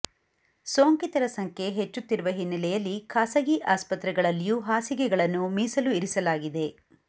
ಸೋಂಕಿತರ ಸಂಖ್ಯೆ ಹೆಚ್ಚುತ್ತಿರುವ ಹಿನ್ನಲೆಯಲ್ಲಿ ಖಾಸಗಿ ಆಸ್ಪತ್ರೆಗಳಲ್ಲಿಯೂ ಹಾಸಿಗೆಗಳನ್ನು ಮೀಸಲು ಇರಿಸಲಾಗಿದೆ